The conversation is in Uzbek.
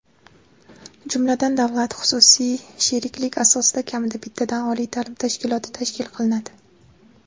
jumladan davlat-xususiy sheriklik asosida kamida bittadan oliy ta’lim tashkiloti tashkil qilinadi.